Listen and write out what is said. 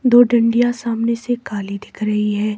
दो डंडियाँ सामने से काली दिख रही है।